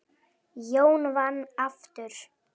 Jón vann aftur.